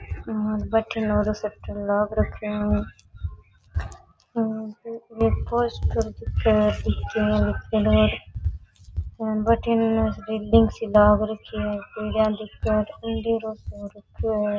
भटीने दूकान में शटर लाग राख्यो है और पोस्टर दिखे है पीके लिखेडो भटीने रैलींग सी लाग रखी है --